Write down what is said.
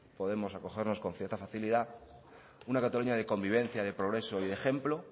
podemos acogernos con cierta facilidad una cataluña de convivencia de progreso y de ejemplo